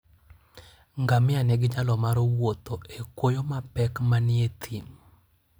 Ngamia nigi nyalo mar wuotho e kwoyo mapek manie thim.